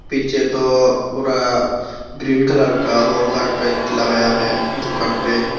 पीछे तो पूरा ग्रीन कलर का लगाया है दुकान पे।